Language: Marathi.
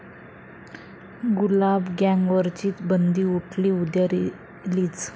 गुलाब गँग'वरची बंदी उठली, उद्या रिलीज